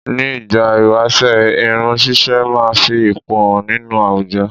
Ni ìgbà ìwáṣẹ̀ irun ṣíṣe máa fi ipò hàn nínú àwùjọ